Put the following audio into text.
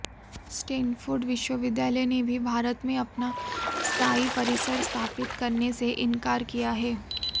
Stanford विश्वविद्यालय ने भी भारत में अपना स्थाई परिसर स्थापित करने से इंकार किया है